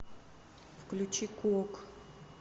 включи куок